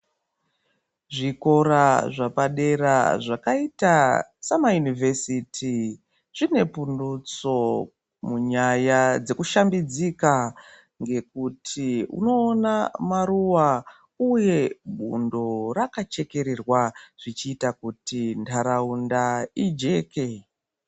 Zvikora zvepadera zvakaita sama yunivhesiti zvine pundutso munyaya dzekushambidzika ngekuti unoona maruwa uye bundo rakachekererwa zvichita kuti ntaraunda ijeke.